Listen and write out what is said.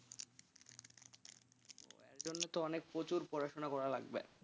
তার জন্য তো অনেক প্রচুর পড়াশোনা করা লাগবে।